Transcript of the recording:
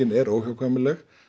er óhjákvæmileg